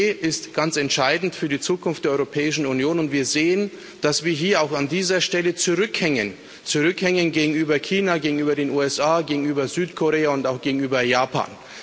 5G ist ganz entscheidend für die Zukunft der Europäischen Union, und wir sehen, dass wir hier auch an dieser Stelle zurückhängen zurückhängen gegenüber China, gegenüber den USA, gegenüber Südkorea und auch gegenüber Japan.